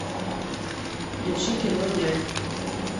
включи кино нянь